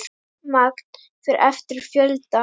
Magn fer eftir fjölda.